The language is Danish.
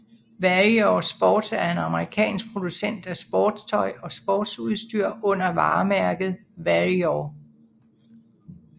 Warrior Sports er en amerikansk producent af sportstøj og sportsudstyr under varemærket Warrior